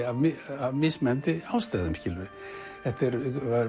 af mismunandi ástæðum þetta er